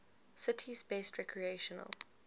city's best recreational